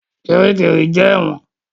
Kiríkirì jẹ́ ẹ̀wọ̀n.